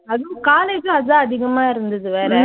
அதுவும் college உம் அதான் அதிகமா இருந்துது வேற.